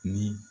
Ni